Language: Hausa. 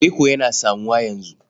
Reko yana samuwa yanzu.